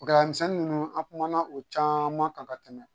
Gɛlɛyamisɛnnin ninnu an kumana o caman kan ka tɛmɛ